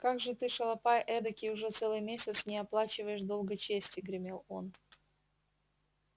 как же ты шалопай эдакий уже целый месяц не оплачиваешь долга чести гремел он